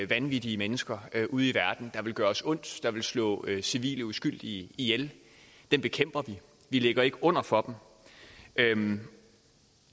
vanvittige mennesker ude i verden der vil gøre os ondt der vil slå civile uskyldige ihjel dem bekæmper vi vi ligger ikke under for dem